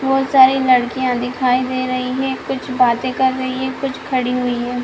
बहोत सारी लड़कियाँ दिखाई दे रही कुछ बाते कर रही हैं कुछ खड़ी हुई हैं।